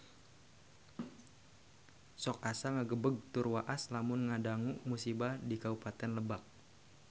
Sok asa ngagebeg tur waas lamun ngadangu musibah di Kabupaten Lebak